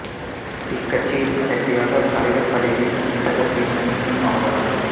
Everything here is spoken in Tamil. இக்கட்சியில் கடைசியாக தலைவர் பதவி வகித்தவர் வி மணி சிங் ஆவார்